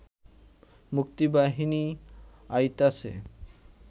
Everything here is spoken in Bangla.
মুক্তিবাহিনী আইতাছে